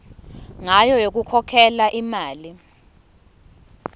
ngayo yokukhokhela imali